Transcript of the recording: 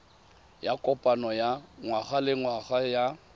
ya kopano ya ngwagalengwaga ya